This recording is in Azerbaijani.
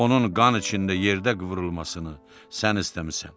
Onun qan içində yerdə qıvrılmasını sən istəmisən.